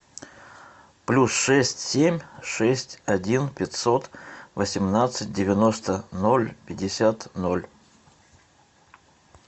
плюс шесть семь шесть один пятьсот восемнадцать девяносто ноль пятьдесят ноль